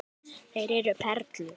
Þeir eru perlur.